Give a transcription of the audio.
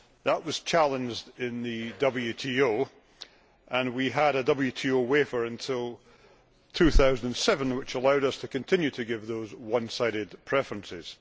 That was challenged in the WTO and we had a WTO waiver until 2007 which allowed us to continue to give those one sided preferences.